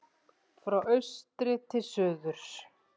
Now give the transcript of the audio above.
Frá austri til suðurs